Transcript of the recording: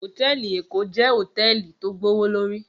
Hótèlí Ékó jè hótèlí tó gbówólóri